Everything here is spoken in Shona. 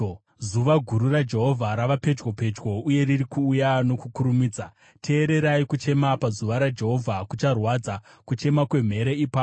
“Zuva guru raJehovha rava pedyo, pedyo, uye riri kuuya nokukurumidza. Teererai! Kuchema pazuva raJehovha kucharwadza, kuchema kwemhere ipapo.